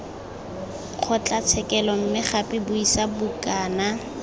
kgotlatshekelo mme gape buisa bukana